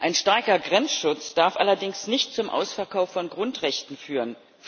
Ein starker Grenzschutz darf allerdings nicht zum Ausverkauf von Grundrechten führen.